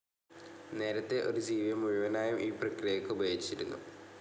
നേരത്തെ ഒരു ജീവിയെ മുഴുവനായും ഈ പ്രക്രിയയ്ക്ക് ഉപയോഗിച്ചിരിക്കുന്നു.